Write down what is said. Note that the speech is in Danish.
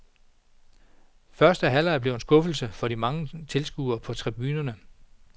Første halvleg blev en skuffelse for de mange tilskuere på tribunerne.